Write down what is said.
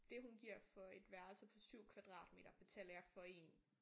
Det hun giver for et værelse på 7 kvadratmeter betaler jeg for én